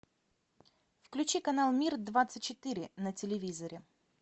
включи канал мир двадцать четыре на телевизоре